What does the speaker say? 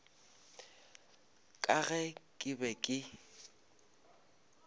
ka ge ke be ke